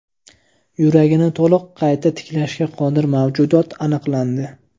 Yuragini to‘liq qayta tiklashga qodir mavjudot aniqlandi.